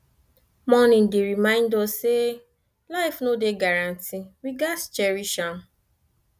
mourning dey remind us say life no dey guarantee we gats cherish am